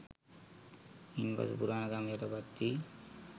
ඉන් පසු පුරාණ ගම් යටපත් වි